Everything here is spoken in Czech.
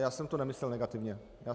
Já jsem to nemyslel negativně.